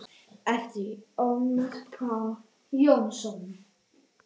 eftir Ólaf Pál Jónsson